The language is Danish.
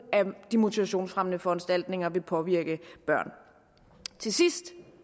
af de motivationsfremmende foranstaltninger vil påvirke børn til sidst